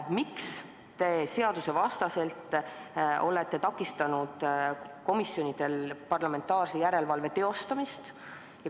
Miks te olete seadusevastaselt takistanud komisjonidel parlamentaarse järelevalve teostamist?